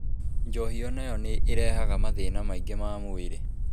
Njohi o nayo nĩ ĩrehaga mathĩna maingĩ ma mwĩrĩ